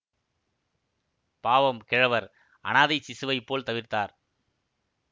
பாவம் கிழவர் அனாதைச் சிசுவைப் போல் தவித்தார்